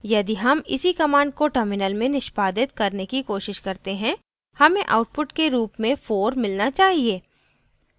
यदि हम इसी command को terminal में निष्पादित करने की कोशिश करते हैं हमें output के रूप में 4 मिलना चाहिए